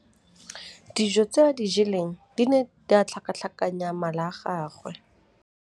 Dijô tse a di jeleng di ne di tlhakatlhakanya mala a gagwe.